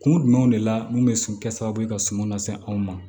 Kun jumɛn de la mun bɛ sɔn kɛ sababu ye ka suman lase anw ma